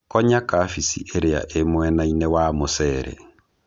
Konya kabichi ĩrĩa ĩmwenainĩ wa mũcere.